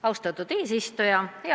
Austatud eesistuja!